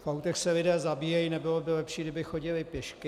V autech se lidé zabíjejí - nebylo by lepší, kdyby chodili pěšky?